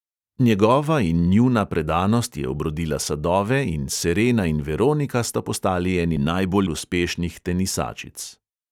Njegova in njuna predanost je obrodila sadove in serena in veronika sta postali eni najbolj uspešnih tenisačic.